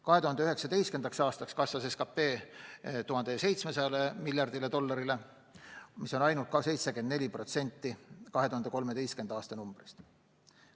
2019. aastaks kasvas SKP 1700 miljardi dollarini, mis on ka ainult 74% 2013. aasta numbrist.